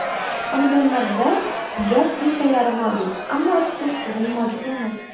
Xonadonlarda gaz plitalari mavjud, ammo isitish tizimi mavjud emas.